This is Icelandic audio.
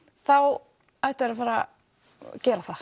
þá ættu þeir að fara að gera það